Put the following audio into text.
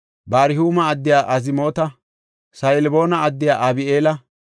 Barhuuma addiya Azmoota, Sa7alboona addiya Abi7eela,